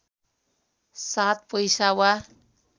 सात पैसा वा